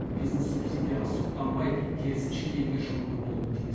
бизнес субсидияға сұқтанбай керісінше елге жұғымды болуы тиіс